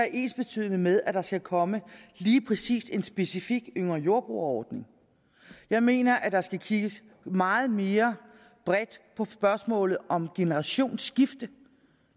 ensbetydende med at der skal komme lige præcis en specifik yngre jordbrugere ordning jeg mener der skal kigges meget mere bredt på spørgsmålet om generationsskifte